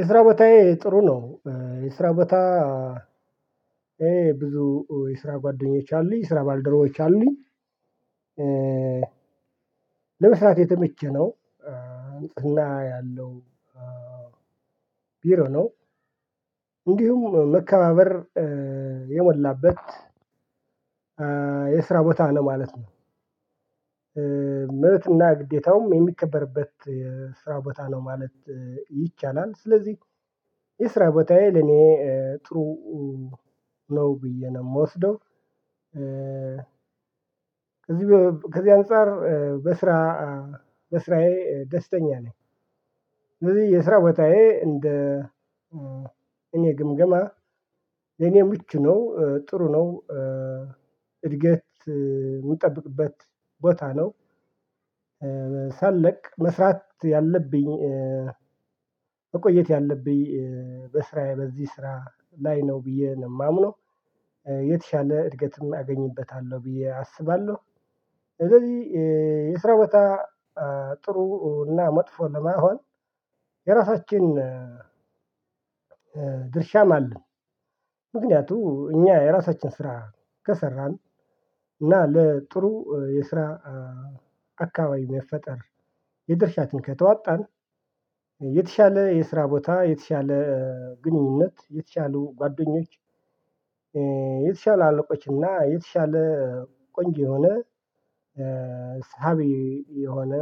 የስራ በታዬ ጥሩ ነው። የስራ ቦታ ብዙ የስራ ጓደኞች አሉኝ የስራ ባልደረቦች አሉኝ። ለመስራት የተመቸ ነው። ንጽህና ያለው ቢሮ ነው። እንዲሁም መከባበር የሞላበት የድራ ቦታ ነው ማለት ነው። መብትና ግዴታውም የሚከበርበት የስራ ቦታ ነው ማለት ይቻላል። ስለዚህ የስራ ቦታዬ ለኔ ጥሩ ነው ብዬ ነው የምወስደው። ከዚህ ከዚህ አንፃር በስራ በስራዬ ደስተኛ ነኝ። ስለዚህ የስራ ቦታዬ እንደ እኔ ግምገማ የኔ ምቹ ነው ጥሩ ነው። እድገት የምጠብቅበት ቦታ ነው። ሳለቅ መስራት ያለብኝ መቆየት ያለብኝ በስራዬ በዚህ ስራ ላይ ነው ብዬ ነው የማምነው። የተሻለ እድገትም አገኝበታለሁ ብዬ አስባለሁ። ስለዚህ የስራ በታ ጥሩ እና መጥፎ ለመሆን የራሳችን ድርሻም አለ። ምክንያቱም እኛ የራሳችን ስራ ከሰራን እና ለጥሩ የስራ አካባቢ መፈጠር የድርሻትን ከተወጣን። የተሻለ የስራ ቦታ የተሻለ ግንኙነት የተሻሉ ጉአደኞች እእ የተሻለ አለቆች እና የተሻለ ቆንጆ የሆነ ሳቢ የሆነ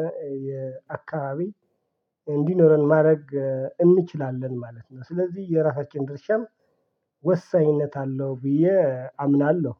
የአካባቢ እንዲኖረን ማድረግ እንችላለን ማለት ነው። ስለዚህ የራሳችን ድርሻም ወሳኝነት አለው ብዬ አምናለሁ።